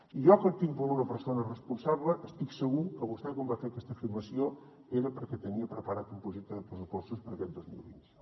i jo que el tinc per una persona responsable estic segur que vostè quan va fer aquesta afirmació era perquè tenia preparat un projecte de pressupostos per aquest dos mil vint u